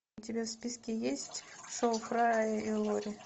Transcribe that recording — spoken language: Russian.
у тебя в списке есть шоу фрая и лори